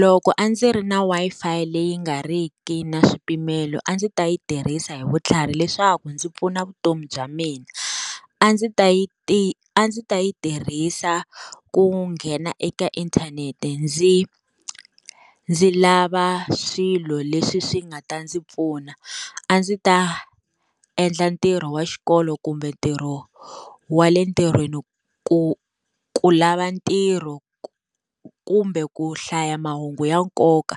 Loko a ndzi ri na Wi-Fi leyi nga ri ki na swipimelo a ndzi ta yi tirhisa hi vutlhari leswaku ndzi pfuna vutomi bya mina. A ndzi ta yi a ndzi ta yi tirhisa ku nghena eka inthanete ndzi ndzi lava swilo leswi swi nga ta ndzi pfuna. A ndzi ta endla ntirho wa xikolo kumbe ntirho wa le ntirhweni ku ku lava tirho, kumbe ku hlaya mahungu ya nkoka,